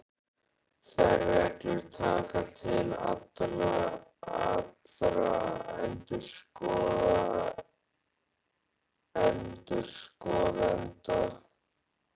Þær reglur taka til allra endurskoðenda.